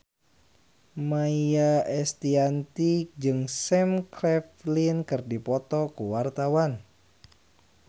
Maia Estianty jeung Sam Claflin keur dipoto ku wartawan